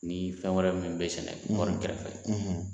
Ni fɛn wɛrɛ min bɛ sɛnɛ kɔɔri kɛrɛfɛ